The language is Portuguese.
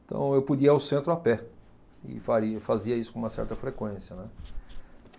Então eu podia ir ao centro a pé e faria fazia isso com uma certa frequência, né.